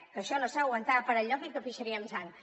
que això no s’aguantava per enlloc i que pixaríem sang